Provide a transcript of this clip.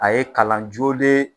A ye kalan joolen